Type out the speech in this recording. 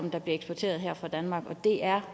det er